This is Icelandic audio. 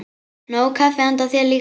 Nóg kaffi handa þér líka.